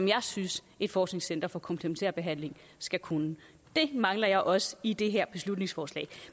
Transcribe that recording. jeg synes et forskningscenter for komplementær behandling skal kunne det mangler jeg også i det her beslutningsforslag